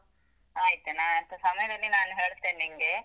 ಆಯ್ತು, ನಾನಂತ ಸಮಯದಲ್ಲಿ ನಾನು ಹೇಳ್ತೇನ್ ನಿಂಗೆ.